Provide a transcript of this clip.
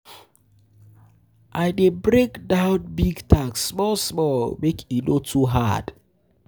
um I dey break down um big um tasks small small, make e no too hard.